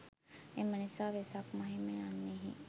එම නිසා වෙසක් මහිම යන්නෙහි